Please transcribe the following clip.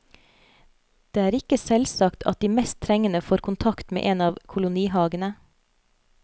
Det er ikke selvsagt at de mest trengende får kontakt med en av kolonihagene.